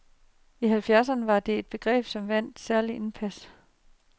I halvfjerdserne var det et begreb, som vandt særlig indpas.